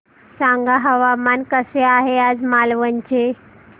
सांगा हवामान कसे आहे आज मालवण चे